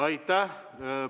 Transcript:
Aitäh!